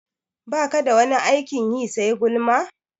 Baka da wani aikin yi sai gulma?